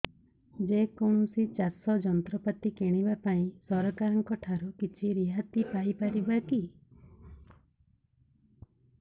ଯେ କୌଣସି ଚାଷ ଯନ୍ତ୍ରପାତି କିଣିବା ପାଇଁ ସରକାରଙ୍କ ଠାରୁ କିଛି ରିହାତି ପାଇ ପାରିବା କି